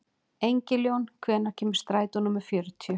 Engiljón, hvenær kemur strætó númer fjörutíu?